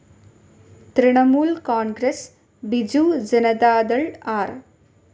Trinamool Congress, Biju Janata Dal, R.